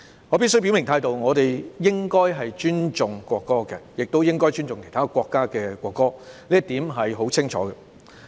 我必須表明態度，我們應該尊重國歌，亦應該尊重其他國家的國歌，這一點是很清楚的。